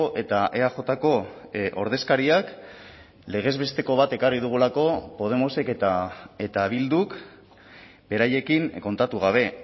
eta eajko ordezkariak legez besteko bat ekarri dugulako podemosek eta bilduk beraiekin kontatu gabe